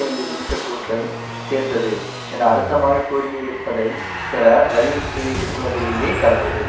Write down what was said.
ஐந்து நிமிஷ கூற்றை சேர்த்தது என அழுத்தமாகக் கூறியதைத்திருப்ப பெற வலியுறுத்தவதிலேயே கடந்தது